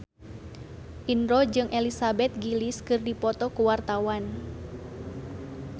Indro jeung Elizabeth Gillies keur dipoto ku wartawan